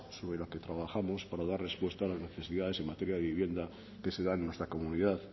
sobre la que trabajamos para dar respuesta a las necesidades en materia de vivienda que se dan en nuestra comunidad